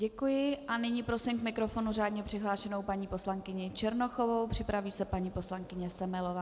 Děkuji a nyní prosím k mikrofonu řádně přihlášenou paní poslankyně Černochovou, připraví se paní poslankyně Semelová.